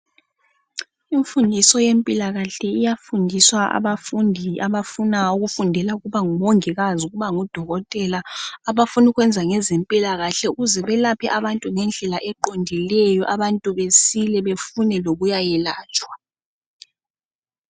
Imfundiso yempilakahle iyafundiswa abafundi abafuna ukufundela ukuba nguMongikazi, ukuba nguDokotela ,abafunu'kwenza ngeze mpilakahle ukuze belaphe abantu ngendlela eqondileyo, abantu besile befune lokuyayelatshwa